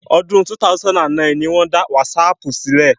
Ọdún 2009 ni wọ́n dá Wásaapù sílẹ̀